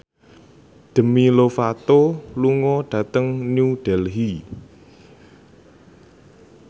Demi Lovato lunga dhateng New Delhi